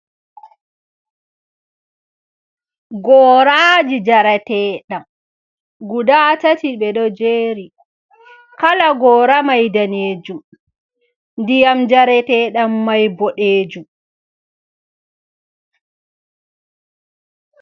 Goraji jaratee ɗam guda tati ɓedo jeri. Kala gora mai danejum ndiyam jaratee dan mai boɗejum.